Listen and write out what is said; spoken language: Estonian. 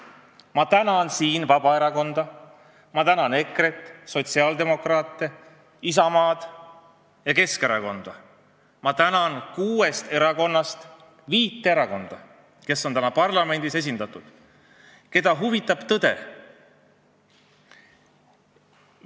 Ma tänan siin Vabaerakonda, ma tänan EKRE-t, sotsiaaldemokraate, Isamaad ja Keskerakonda, ma tänan kuuest erakonnast viit erakonda, kes on parlamendis esindatud ja keda huvitab tõde.